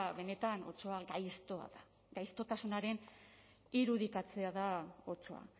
benetan otsoa gaiztoa da gaixotasunaren irudikatzea da otsoa